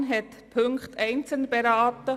Die FiKo hat diese einzeln beraten.